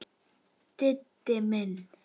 Diddi minn!